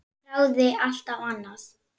Þráði alltaf annað.